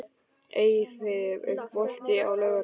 Eyfi, er bolti á laugardaginn?